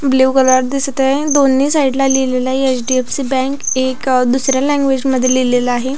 Blue colour दिसत आहे दोन्ही साइट ला लिहलेल आहे एच.डी.एफ.सी बॅंक एक दुसऱ्या लैंग्वेज मध्ये लिहलेले आहे.